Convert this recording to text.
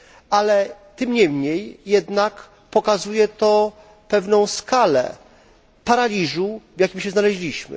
Ale tym niemniej pokazuje to pewną skalę paraliżu, w jakim się znaleźliśmy.